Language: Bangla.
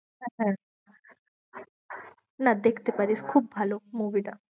হ্যাঁ হ্যাঁ না দেখতে পারিস খুব ভালো movie টা।